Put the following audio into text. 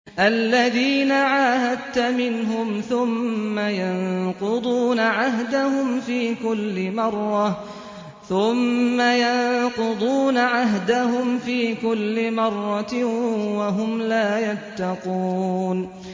الَّذِينَ عَاهَدتَّ مِنْهُمْ ثُمَّ يَنقُضُونَ عَهْدَهُمْ فِي كُلِّ مَرَّةٍ وَهُمْ لَا يَتَّقُونَ